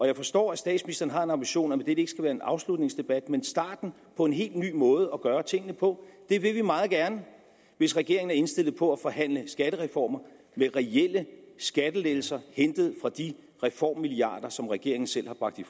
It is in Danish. jeg forstår at statsministeren har en ambition om at være en afslutningsdebat men starten på en helt ny måde at gøre tingene på det vil vi meget gerne hvis regeringen er indstillet på at forhandle skattereformer med reelle skattelettelser hentet fra de reformmilliarder som regeringen selv har bragt i